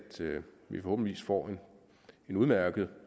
vi forhåbentlig får en udmærket